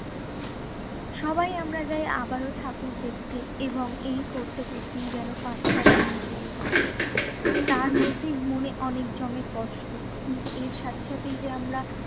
সবাই আমরা যাই আবারো ঠাকুর দেখতে এবং এই করতে করতেই যেন পাঁচটা দিন চলে যায়। তার মধ্যেই মনে অনেক জমে কষ্ট কিন্তু এর সাথে সাথেই যে আমরা